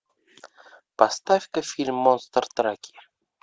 поставь ка фильм монстр траки